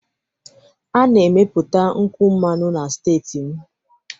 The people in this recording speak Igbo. A na-emepụta nkwụ mmanụ na steeti m